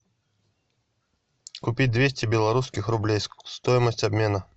купить двести белорусских рублей стоимость обмена